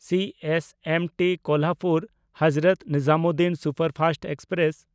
CSMT ᱠᱳᱞᱦᱟᱯᱩᱨ–ᱦᱚᱡᱨᱚᱛ Nizamuddin superfast express